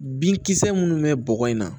Binkisɛ minnu bɛ bɔgɔ in na